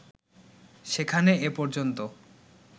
সেখানে এ পর্যন্ত